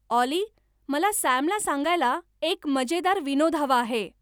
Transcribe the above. ऑली मला सॅम ला सांगायला एक मजेदार विनोद हवा आहे